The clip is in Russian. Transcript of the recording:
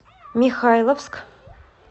михайловск